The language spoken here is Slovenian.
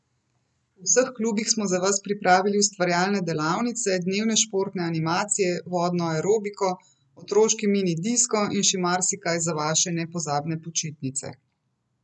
V vseh klubih smo za vas pripravili ustvarjalne delavnice, dnevne športne animacije, vodno aerobiko, otroški mini disko in še marsikaj za vaše nepozabne počitnice!